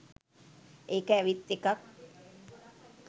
ඒක ඇවිත් එකක්.